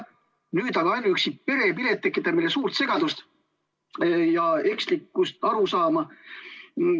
Nüüd aga ainuüksi perepilet tekitab meile suurt segadust ja ekslikku arusaama.